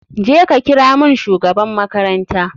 Je ka kira mun shugaban makaranta.